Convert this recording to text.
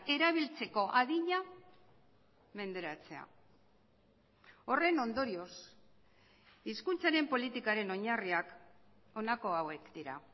erabiltzeko adina menderatzea horren ondorioz hizkuntzaren politikaren oinarriak honako hauek dira